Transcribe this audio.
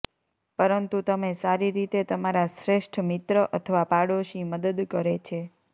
પરંતુ તમે સારી રીતે તમારા શ્રેષ્ઠ મિત્ર અથવા પાડોશી મદદ કરે છે